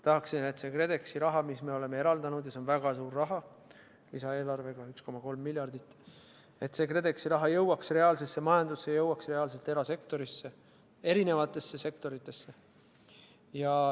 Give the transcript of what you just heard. Tahaksin, et KredExi raha, mis me oleme eraldanud – ja see on väga suur raha, lisaeelarvega on 1,3 miljardit –, jõuaks reaalsesse majandusse, jõuaks reaalselt erasektorisse, erinevatesse sektoritesse.